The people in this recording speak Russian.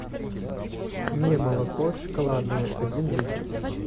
немолоко шоколадное один литр